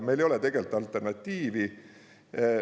Meil ei ole tegelikult alternatiivi.